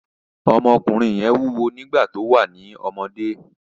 Ọmọkùnrin yẹn wúwo nígbà tó wà ní ọ́mọdé